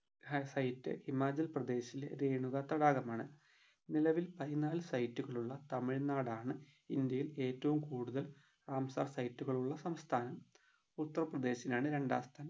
ഹാ site ഹിമാചൽ പ്രദേശിലെ രേണുക തടാകമാണ് നിലവിൽ പതിനാല് site കളുള്ള തമ്മിൽനാടാണ് ഇന്ത്യയിലെ ഏറ്റവും കൂടുതൽ റാംസാർ site കളുള്ള സംസ്ഥാനം ഉത്തർപ്രദേശിനാണ് രണ്ടാം സ്ഥാനം